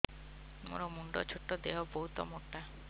ମୋର ମୁଣ୍ଡ ଛୋଟ ଦେହ ବହୁତ ମୋଟା